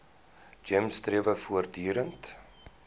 gems strewe voortdurend